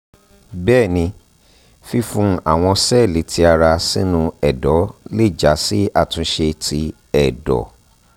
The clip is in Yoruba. bẹẹni fifun awọn sẹẹli ti ara sinu ẹdọ le ja si atunse ti ẹdọ